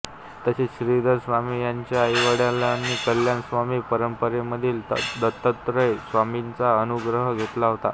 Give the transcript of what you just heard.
तसेच श्रीधर स्वामी यांच्या आईवडिलांनी कल्याण स्वामी परंपरेमधील दत्तात्रेय स्वामींचा अनुग्रह घेतला होता